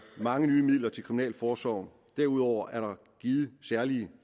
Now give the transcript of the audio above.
mange nye midler til kriminalforsorgen og derudover er der givet særlige